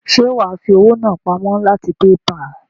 Ṣe wàá fi owó náà pamó láti PayPal?